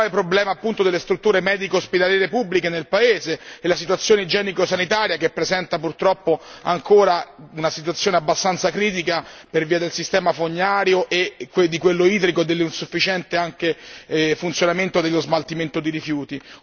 problema delle strutture medico ospedaliere pubbliche nel paese e sulla situazione igienico sanitaria, che presenta purtroppo ancora una situazione abbastanza critica per via del sistema fognario e di quello idrico nonché dell'insufficiente funzionamento dello smaltimento di rifiuti.